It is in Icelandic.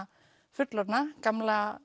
fullorðna gamla